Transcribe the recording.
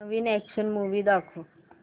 नवीन action movie दाखव